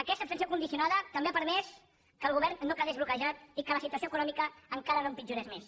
aquesta abstenció condicionada també ha permès que el govern no quedés bloquejat i que la situació econòmica encara no empitjorés més